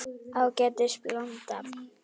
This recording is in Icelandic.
Ágætis blanda.